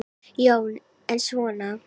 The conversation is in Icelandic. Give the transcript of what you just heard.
Jón: En svona.